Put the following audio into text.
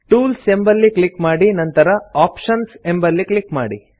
tools ಎಂಬಲ್ಲಿ click ಮಾಡಿ ನಂತರ ಆಪ್ಷನ್ಸ್ ಎಂಬಲ್ಲಿ ಕ್ಲಿಕ್ ಮಾಡಿ